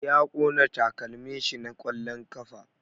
Ya ƙona takalmin shi na ƙwallon ƙafa